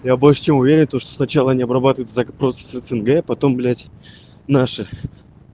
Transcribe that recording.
я больше чем уверен то что сначала они обрабатывается зак просто с снг потом блять наши